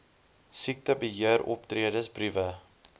siektebe heeroptredes briewe